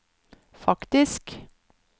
faktisk